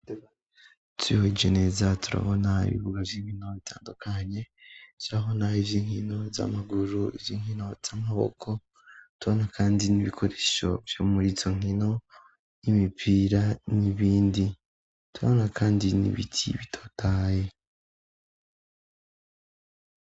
Twihweje neza turabona ibibuga by'inkino bitandukanye byabona iby'inkino z'amaguru ivy'inkino z'amaboko tuaana kandi n'ibikoresho by'umuritso nkino y'imipira n'ibindi tubana kandi n'ibiti bitotahaye.